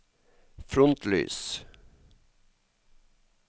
frontlys